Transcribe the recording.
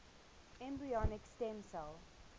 embryonic stem cell